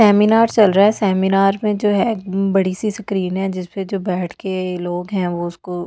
seminar चल रहा है सेमिनार में जो है बड़ी सी स्क्रीन है जिस पे जो बैठ के लोग हैं वो उसको --